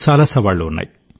చాలా సవాళ్లు ఉన్నాయి